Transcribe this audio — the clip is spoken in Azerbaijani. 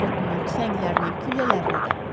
Barıtını, tüfənglərini, güllələrini də.